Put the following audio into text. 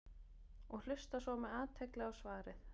og hlusta svo með athygli á svarið.